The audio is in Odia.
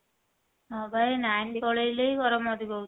ହଁ ବା ଏଇ line ପଳେଇଲେ ହିଁ ଗରମ ଅଧିକା ହଉଛି